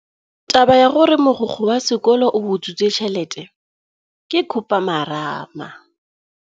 Taba ya gore mogokgo wa sekolo o utswitse tšhelete ke khupamarama.